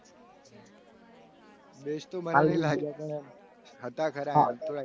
Best તો મને પણ લાગ્યા પણ એમ હતા. ખરા એમ